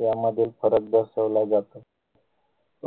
यामधील फरक दर्शवला जातो